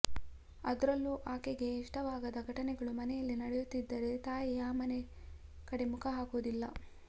ಅದ್ರಲ್ಲೂ ಆಕೆಗೆ ಇಷ್ಟವಾಗದ ಘಟನೆಗಳು ಮನೆಯಲ್ಲಿ ನಡೆಯುತ್ತಿದ್ದರೆ ತಾಯಿ ಆ ಮನೆ ಕಡೆ ಮುಖ ಹಾಕುವುದಿಲ್ಲ